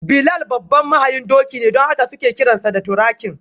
Bilal babban mahayin doki ne don haka suke kiransa da: ‘Turakin’.